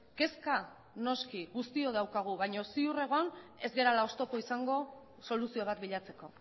kezka noski guztiok daukagu baino ziur egon ez garela oztopo izango soluzio bat bilatzeko